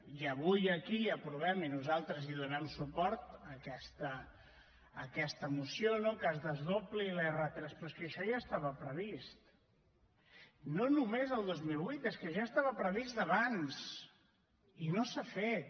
i avui aquí aprovem i nosaltres hi donem suport aquesta moció no que es desdobli l’r3 però és que això ja estava previst no només el dos mil vuit és que ja estava previst d’abans i no s’ha fet